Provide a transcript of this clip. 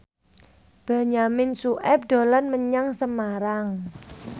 Benyamin Sueb dolan menyang Semarang